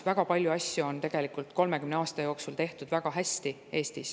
Väga paljusid asju on 30 aasta jooksul Eestis väga hästi tehtud.